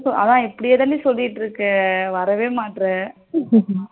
அதான் இப்படியேதான்டி சொல்லிடு இருக்க வரவே மாட்ற